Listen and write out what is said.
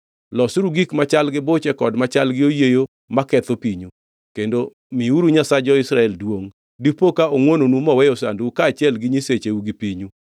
Losuru gik machal gi buche kod machal gi oyieyo maketho pinyu, kendo miuru Nyasach jo-Israel duongʼ. Dipo ka ongʼwononu moweyo sandou kaachiel gi nyisecheu gi pinyu.